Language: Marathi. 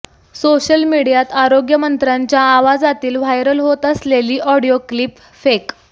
सोशल मीडियात आरोग्यमंत्र्यांच्या आवाजातील व्हायरल होत असलेली ऑडिओ क्लिप फेक